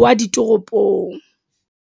wa ditoropong.